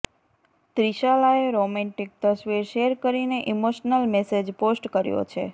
ત્રિશાલાએ romantic તસવીર share કરીને emotional message post કર્યો છે